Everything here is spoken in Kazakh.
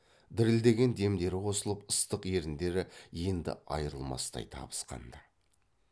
дірілдеген демдері қосылып ыстық еріндері енді айрылмастай табысқанды